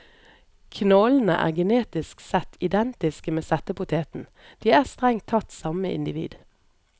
Knollene er genetisk sett identiske med settepoteten, de er strengt tatt samme individ.